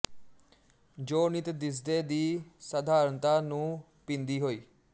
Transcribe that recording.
ਜੋ ਨਿੱਤ ਦਿਸਦੇ ਦੀ ਸਾਧਾਰਣਤਾ ਨੂੰ ਪੀਂਦੀ ਹੋਈ